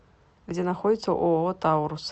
где находится ооо таурус